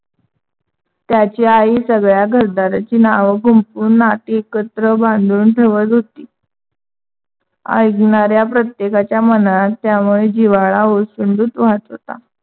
त्याची आई सगळ्या घरदाराची नाव गुंफून नाती एकत्र बांधून ठेवत होती. ऐकणाऱ्या प्रतेकच्या मनात त्यामुळे जिव्हाळा ओसंडून वाहत होता.